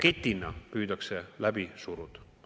… paketina püütakse läbi suruda.